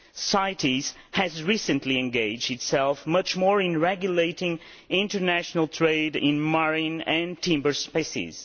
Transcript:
CITES has recently engaged much more in regulating international trade in marine and timber species.